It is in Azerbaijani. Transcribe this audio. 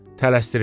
Tələsdirirdi.